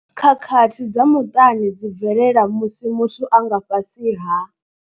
Khakhathi dza muṱani dzi bvelela musi muthu a nga fhasi ha.